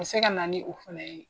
A bi se ka na ni o fɛnɛ ye